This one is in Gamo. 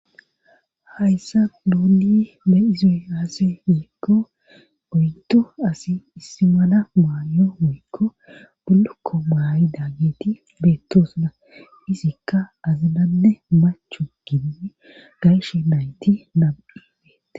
hayssa duundi be izie aase yiekko oyto asi issi mala maayo woykko bulukko maayi da geeti beettosuna izikka azinanne machu gini gayshe nayti nabibeete